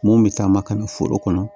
Mun bɛ taa makan foro kɔnɔ